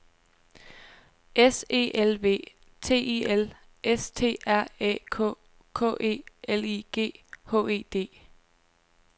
S E L V T I L S T R Æ K K E L I G H E D